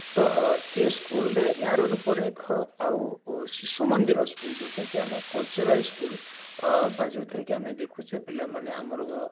ତ ସେ school ରେ ୟାର ରୂପରେଖ ଆଉ ଶିଶୁ ମନ୍ଦିର school ଯାଉଥିରେ କି ଆମେ cultural school ବା ଯାଉଥିରେ କି ଆମେ ଦେଖୁଚେ ପିଲାମାନେ ଆମର